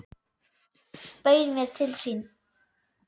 Bauð mér til sín.